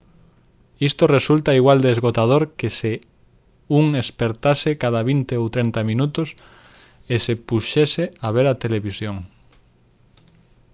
isto resulta igual de esgotador que se un espertase cada vinte ou trinta minutos e se puxese a ver a televisión